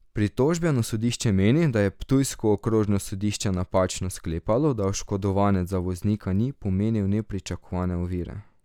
Pritožbeno sodišče meni, da je ptujsko okrožno sodišče napačno sklepalo, da oškodovanec za voznika ni pomenil nepričakovane ovire.